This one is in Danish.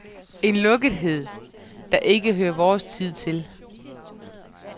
En lukkethed, der ikke hører vores tid til.